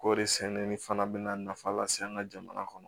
Kɔɔri sɛnɛli fana bɛ na nafa lase an ka jamana kɔnɔ